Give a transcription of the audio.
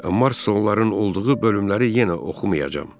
Marsonların olduğu bölümləri yenə oxumayacam.